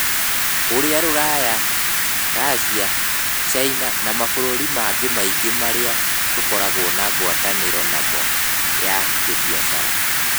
Ũria rũraya, Racia, Caina, na mabũrũri mangĩ maingĩ marĩa tũkoragwo na ngwatanĩro namo ya kĩbiacara.